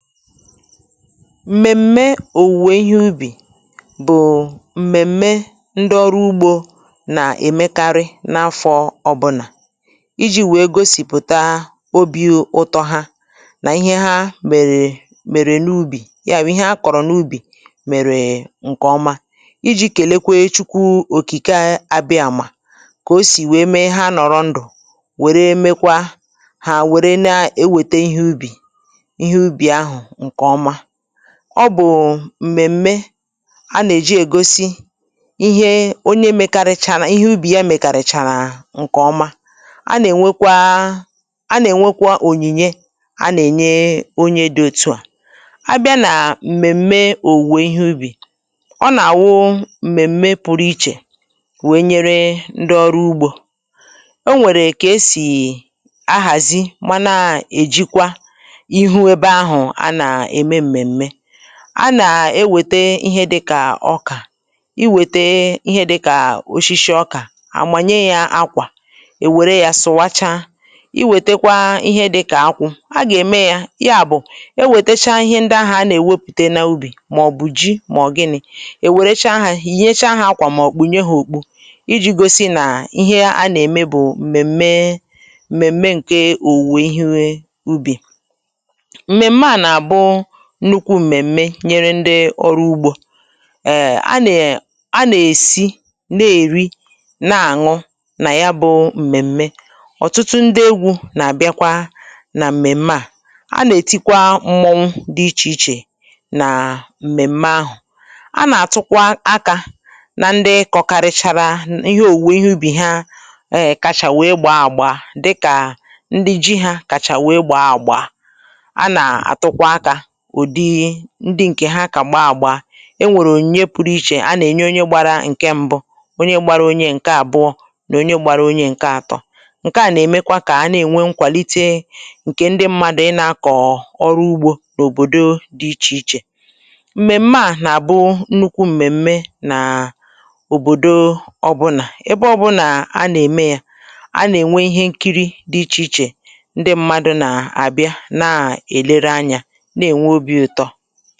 M̀mèm̀me òwùwè ihe ubì, bụ̀ m̀mèm̀me ndị ọrụ ugbȯ nà-èmekarị n’afọ̇ ọbụnà iji̇ wèe gosìpụ̀ta obi̇ ụtọ ha nà ihe ha mèrè mèrè n’ubì, ya wụ̀ ihe a kọ̀rọ̀ n’ubì mèrè ǹkèọma, iji̇ kèlekwe chukwu òkìkè a àbịa mà kà o sì wèe mee ha nọ̀rọ ndụ̀ wère mekwa hà wère na-ewète ihe ubì, ihe ubì ahụ nke ọma, ọ bụ̀ m̀mèm̀me a nà-èji ègosi ihe onye mekarịchana, ihe ubì ya mèkàrị̀chàrà ǹkè ọma, a nà-ènwekwa a nà-ènwekwa ònyìnye a nà-ènye onye dị̇ otu̇ à, a bịa nà m̀mèm̀me òwùwè ihe ubì, ọ nà-àwụ m̀mèm̀me pụrụ ichè wèe nyere ndị ọrụ ugbȯ, o nwèrè kà esì ahàzi mana èjikwa ịhụ ébé áhù ana eme m̀mèm̀me, a nà-ewète ihe dịkà ọkà, i wète ihe dịkà oshishi ọkà àmànye ya akwà èwère ya sụ̀wacha, i wète kwa ihe dịkà akwụ̇ a gà-ème ya, ya bụ̀ i wètecha ihe ndị ahụ̀ a nà-èwepùte n’ubì màọ̀bụ̀ ji màọ̀bụ̀ gịnị̇ èwèrecha há yìnyècha há akwà mà ọ̀ kpúnye ha òkpu iji̇ gosi nà ihe a nà-ème bụ̀ mèmè mèmè ǹke òwùwè ihe ubì. M̀mèm̀me a na abụ nnukwu m̀mèm̀me nyeré ndị órú úgbó, ééé á nè á nè-èsi nà-èri nà-àṅụ nà yá bụ̇ m̀mèm̀mè, ọ̀tụtụ ndị egwu̇ nà-àbịakwa nà m̀mèm̀mè à, a nà-ètikwa mmọnwụ dị ichè ichè nà m̀mèm̀mè ahụ̀, a nà-àtụkwa akȧ nà ndị kọkarịchara ihe òwùwè ihe ubì ha eh kachà wee gbaa àgba dịkà ndị ji hȧ kàchà wee gbaa àgbà, ana atukwa aka ụ̀dị ndị ǹkè ha kà gbaa àgba, enwèrè ònye pụrụ ichè a nà-ènye onye gbara ǹke mbụ onye gbara onye ǹke àbụọ nà onye gbara onye ǹke àtọ, ǹke à nà-èmekwa kà a nà-ènwe nkwàlite ǹkè ndị mmadụ̀ ịnȧkọ̀ọ̀ ọrụ ugbȯ n’òbòdo dị ichè ichè, m̀mèm̀me à nà-àbụ nnukwu m̀mèm̀me nàà òbòdo ọbụnà, ebe ọbụnà a nà-ème ya a nà-ènwe ihe nkiri dị ichè ichè ndị mmadụ̇ nà àbịa na-èlere ányá na enwe obi ụtọ.